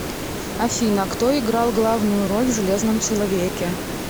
афина кто играл главную роль в железном человеке